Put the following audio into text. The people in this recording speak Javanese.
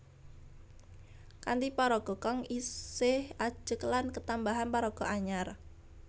Kanthi paraga kang isih ajeg lan ketambahan paraga anyar